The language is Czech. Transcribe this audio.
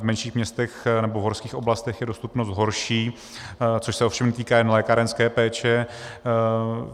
V menších městech nebo v horských oblastech je dostupnost horší, což se ovšem týká jen lékárenské péče.